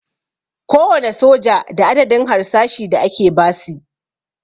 Kowane soja da adadin harsashi da ake basi